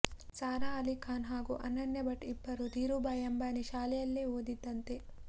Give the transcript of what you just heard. ಸಾರಾ ಆಲಿ ಖಾನ್ ಹಾಗೂ ಅನನ್ಯ ಭಟ್ ಇಬ್ಬರು ಧೀರು ಬಾಯಿ ಅಂಬಾನಿ ಶಾಲೆಯಲ್ಲಿಯೇ ಓದಿದ್ದಂತೆ